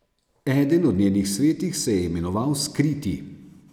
Eden od njenih svetih se je imenoval Skriti.